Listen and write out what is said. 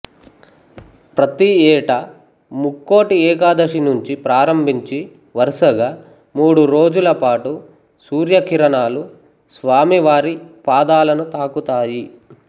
ప్రతి ఏటా ముక్కోటి ఏకాదశి నుంచి ప్రారంభించి వరుసగా మూడు రోజుల పాటు సూర్యకిరణాలు స్వామి వారి పాదాలను తాకుతాయి